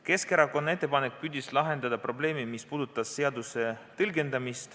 Keskerakonna ettepanek püüdis lahendada seaduse tõlgendamisega seotud probleemi.